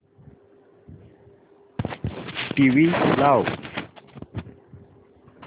TV लाव